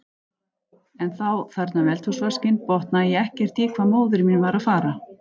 En þá, þarna við eldhúsvaskinn, botnaði ég ekkert í hvað móðir mín var að fara.